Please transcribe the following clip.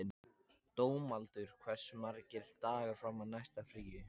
Dómaldur, hversu margir dagar fram að næsta fríi?